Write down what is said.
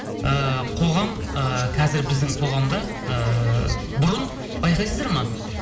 ыыы қоғам ы қазір біздің қоғамда ыыы бұрын байқайсыздар ма